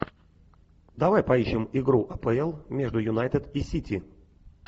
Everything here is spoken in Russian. давай поищем игру апл между юнайтед и сити